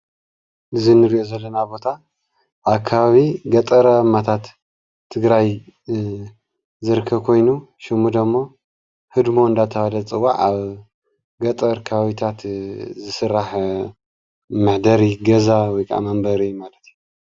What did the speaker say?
እዛ እንሪኦ ዘለና ቦታ ኣብ ኸባቢ ገጠራማታት ትግራይ ዝርከብ ኮይኑ። ሸሙ ደም ህድም ተባሂሉ ዝፅዋዕ ብፍላይ ኣብ ከባቢ ገጠር ዝስራሕ እዩ።